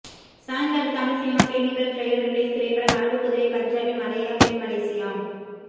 சாய்ந்தாடு Tamil cinema clinical trial release திரைப்படம் அரபுக்குதிரை Punjabi Malaya பெண் மலேசியா